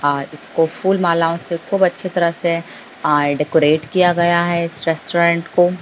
और इसको फूल मालाओं से खूब अच्छी तरह से आ डेकरैट किया गया है इस रेस्टोरेंट को।